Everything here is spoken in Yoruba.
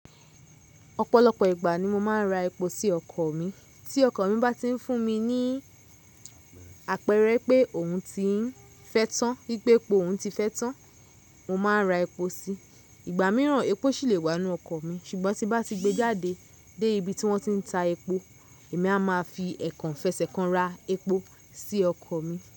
Ọ̀pọ̀lọpọ̀ ìgbà ni mo máa ń ra epo sí ọkọ̀ mi. Tí ọkọ̀ mi bá ti ń fún mi ní àpẹẹrẹ pé òun ti ń fẹ́tàn, wípé epo òun ti fẹ́tàn, mo máa ra epo síi. Ìgbà míràn epo ṣì lè wá nínú ọkọ̀ mi ṣùgbọ́n tí bá ti gbé jáde dé ibi tí wọ́n ti ń ta epo èmi a máa fi ẹ̀kànfẹ̀sẹ̀kàn ra epo sí ọkọ̀ mi.